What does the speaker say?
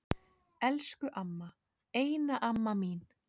Elsku amma, eina amma mín.